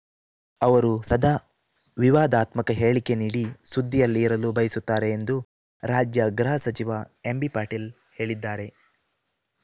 ಅವರು ಸದಾ ವಿವಾದಾತ್ಮಕ ಹೇಳಿಕೆ ನೀಡಿ ಸುದ್ದಿಯಲ್ಲಿ ಇರಲು ಬಯಸುತ್ತಾರೆ ಎಂದು ರಾಜ್ಯ ಗೃಹ ಸಚಿವ ಎಂಬಿಪಾಟೀಲ್‌ ಹೇಳಿದ್ದಾರೆ